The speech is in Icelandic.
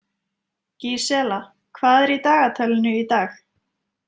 Gísela, hvað er í dagatalinu í dag?